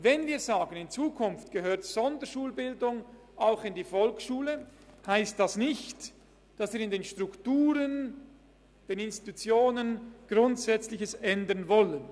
Wenn wir also sagen, in Zukunft gehöre die Sonderschulbildung auch in die Volksschule, dann heisst dies nicht, dass wir an den Strukturen und Institutionen Grundsätzliches ändern wollen.